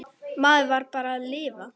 Maður varð bara að lifa.